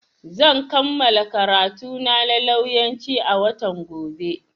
Zan kammala karantuna na lauyanci a watan gobe.